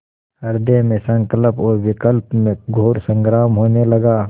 हृदय में संकल्प और विकल्प में घोर संग्राम होने लगा